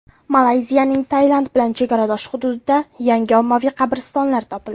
Malayziyaning Tailand bilan chegaradosh hududida yangi ommaviy qabristonlar topildi.